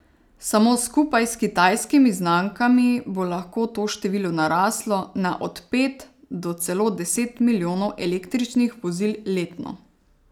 Samo skupaj s kitajskimi znamkami bo lahko to število naraslo na od pet do celo deset milijonov električnih vozil letno.